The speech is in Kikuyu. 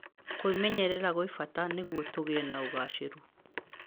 Kũĩmenyerera nĩ gwa bata nĩguo tũgie na ũgaacĩru.